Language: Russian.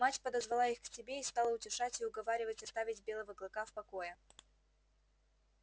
мать подозвала их к себе и стала утешать и уговаривать оставить белого клыка в покое